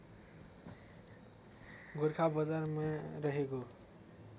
गोरखा बजारमा रहेको